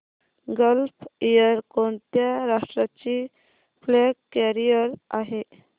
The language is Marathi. गल्फ एअर कोणत्या राष्ट्राची फ्लॅग कॅरियर आहे